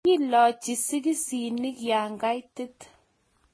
Kiilochi sokiseni ya kaitit